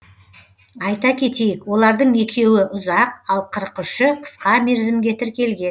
айта кетейік олардың екеуі ұзақ ал қырық үші қысқа мерзімге тіркелген